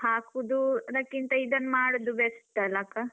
ಹಾಕುದು ಅದಕ್ಕಿಂತ ಇದನ್ನು ಮಾಡುದು best ಅಲಾ ಅಕ್ಕಾ?